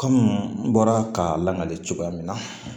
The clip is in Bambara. kɔmi n bɔra k'a lamagali cogoya min na